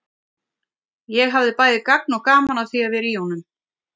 Ég hafði bæði gagn og gaman af því að vera í honum.